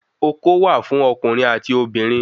Oko wà fún okùnrin ati obìnrin